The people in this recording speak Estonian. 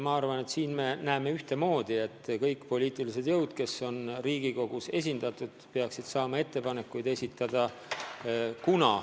Ma usun, et me arvame ühtemoodi, et kõik poliitilised jõud, kes on Riigikogus esindatud, peaksid saama ettepanekuid esitada.